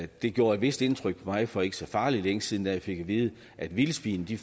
det gjorde et vist indtryk på mig for ikke så farlig længe siden da jeg fik at vide at vildsvin i